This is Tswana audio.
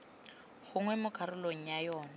gongwe mo karolong ya yona